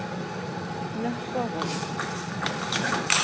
Nökkvavogi